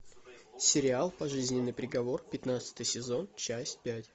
сериал пожизненный приговор пятнадцатый сезон часть пять